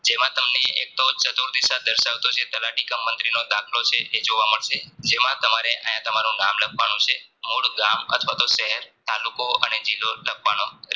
જેમાં તમને એક ચતુરથદીશા દરસાવતો તલાટી કે મન્ત્રિણો ડખો છે એ જોવા મળશે જે માં તમારે આયા તમારું નામ લખવાનું છે મૂળ ગામ અથવાતો શહેર તાલુકો અને જિલ્લો લખવાનો